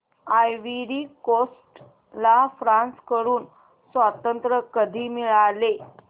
ivory Coast ला France कडून स्वातंत्र्य कधी मिळाले